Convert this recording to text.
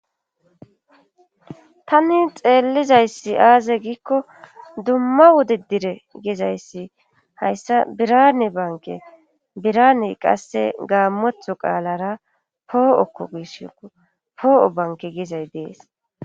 tani xeellizayssi aaze giikko dumma wode dire gizayssi hayssa birane banke biraney qasse gaammotho qaalara poo7okko giishko poo7o banke giizay dees